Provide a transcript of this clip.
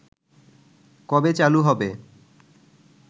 কবে চালু হবে